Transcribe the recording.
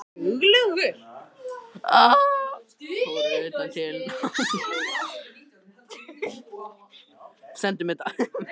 Fór utan til náms